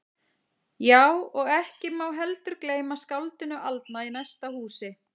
Já, og ekki má heldur gleyma skáldinu aldna í næsta húsi.